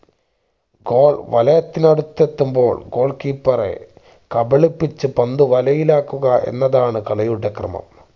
goal വലയത്തിനു അടുത്തെത്തുമ്പോൾ goal keeper എ കബളിപ്പിച്ചു പന്ത് വലയിലാക്കുക എന്നതാണ് കളിയുടെ ക്രമം